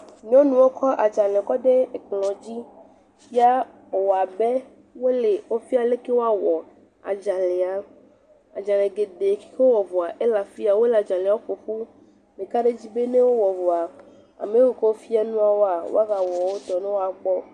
Nyɔnuwo kɔ adzale kɔ de ekplɔ dzi, ya wo wɔa be wo le wo fia le ke woa wɔ adzalea, adzale geɖee yi ke wo wɔ vɔa, ele afiya wole adzalewo ƒo fum, meka ɖe dzi be nɛ wo wɔ vɔa, ame yi ke wo fia nua wɔa wa va wɔ wo tɔ nɛ wɔa kpɔ.